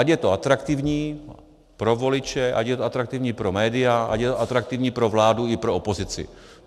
Ať je to atraktivní pro voliče, ať je to atraktivní pro média, ať je to atraktivní pro vládu i pro opozici.